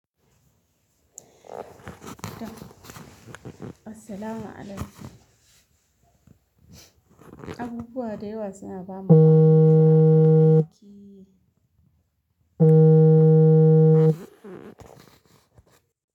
Assalamu alaikum. Abubuwa da yawa suna bamu aminu da baƙi.